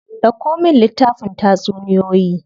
Dauko min littafin tatsuniyoyi.